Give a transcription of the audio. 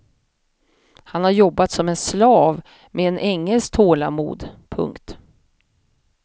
Han har jobbat som en slav med en ängels tålamod. punkt